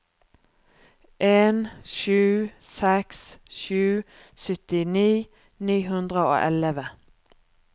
en sju seks sju syttini ni hundre og elleve